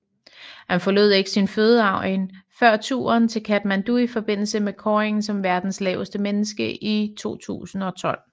Han forlod ikke sin fødeegn før turen til Katmandu i forbindelse med kåringen som verdens laveste menneske i 2012